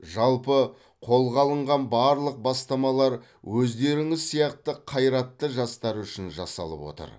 жалпы қолға алынған барлық бастамалар өздеріңіз сияқты қайратты жастар үшін жасалып отыр